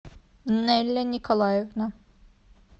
нелли николаевна